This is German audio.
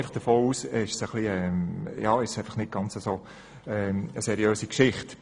Ich gehe davon aus, dass es so nicht ganz seriös ist.